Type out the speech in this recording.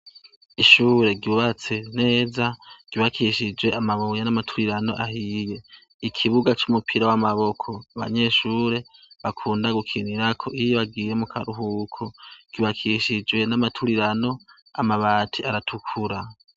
Ishure ryubatse neza ryubakishij' amabuye n' amatafari yama turiran' ahiye, risakajw' amabat' atukura, ikibuga c' umupira w' amaboko, abanyeshure bakunda gukinirak' iyo bagiye mukaruhuko cubakishijwe n' isim' ivanze n'umusenyi.